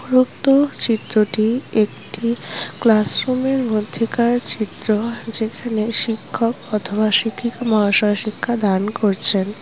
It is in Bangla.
উপরুক্ত চিত্রটি একটি ক্লাসরুম এর মধ্যেকার চিত্র যেখানে শিক্ষক অথবা শিক্ষিকা মহাশয় শিক্ষা দান করছেন ।